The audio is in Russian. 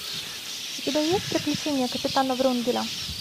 у тебя есть приключения капитана врунгеля